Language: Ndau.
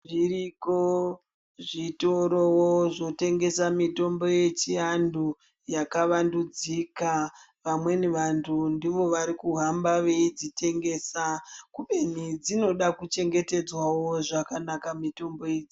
Zviriko zvitoro zvotengesawo mitombo yechi antu yakavandudzika vamweni vantu ndivowo vari kuhamba veidzitengesa kubeni dzinodawo kuchengetedzwa zvakanaka mitombo idzi.